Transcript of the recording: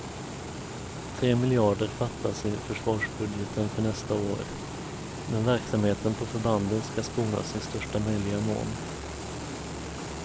Tre miljarder fattas i försvarsbudgeten för nästa år, men verksamheten på förbanden ska skonas i största möjliga mån.